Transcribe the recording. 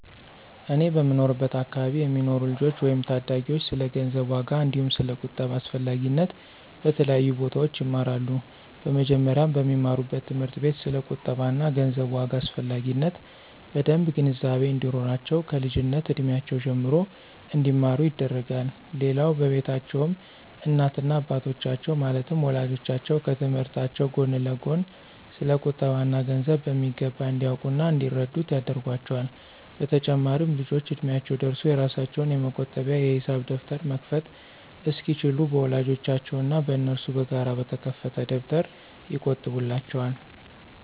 እኛ በምንኖርበት አከባቢ የሚኖሩ ልጆች ወይም ታዳጊዎች ስለ ገንዘብ ዋጋ አንዲሁም ስለ ቁጠባ አስፈላጊነት በተለያዩ ቦታዎች ይማራሉ። በመጀመሪያም በሚማሩበት ትምህርት ቤት ስለ ቁጠባ እና ገንዘብ ዋጋ አስፈላጊነት በደምብ ግንዛቤ እንዲኖራቸው ከልጅነት እድሜያቸው ጀምሮ እንዲማሩ ይደረጋል። ሌላው በቤታቸውም እናት እና አባቶቻቸው ማለትም ወላጆቻቸው ከትምህርታቸው ጎን ለጎን ስለ ቁጠባ እና ገንዘብ በሚገባ እንዲያውቁ እና እንዲረዱት ያደርጓቸዋል። በተጨማሪም ልጆቹ እድሚያቸው ደርሶ የራሳቸውን የመቆጠቢያ የሂሳብ ደብተር መክፈት እስኪችሉ በወላጆቻቸው እና በነሱ በጋራ በተከፈተ ደብተር ይቆጥቡላቸዋል።